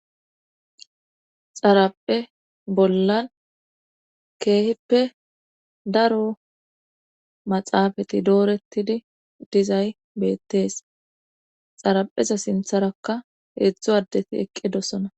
Xaraphe bollan keeheppe daro maxaafati doorettidi dizay beettees xarapheza sintharakka heedzdzo addeti eqqe dosona.